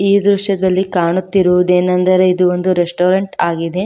ಈ ದೃಶ್ಯದಲ್ಲಿ ಕಾಣುತ್ತಿರುವುದೇನೆಂದರೆ ಇದು ಒಂದು ರೆಸ್ಟೋರೆಂಟ್ ಆಗಿದೆ.